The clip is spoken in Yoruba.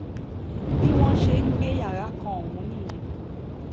bí wọ́n ṣe gba yàrá kan ọ̀hún nìyẹn